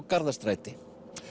Garðastræti